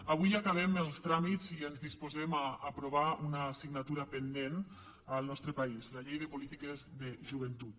avui acabem els tràmits i ens disposem a aprovar una assignatura pendent al nostre país la llei de polítiques de joventut